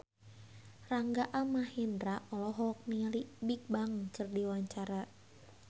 Rangga Almahendra olohok ningali Bigbang keur diwawancara